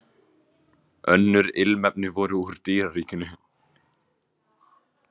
Önnur ilmefni voru úr dýraríkinu.